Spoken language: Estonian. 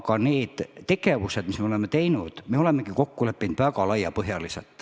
Aga nendes tegevustes, mis me oleme teinud, ongi kokku lepitud laiapõhjaliselt.